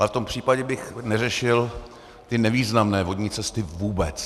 Ale v tom případě bych neřešil ty nevýznamné vodní cesty vůbec.